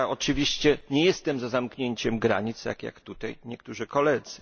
I ja oczywiście nie jestem za zamknięciem granic, tak jak tutaj niektórzy koledzy.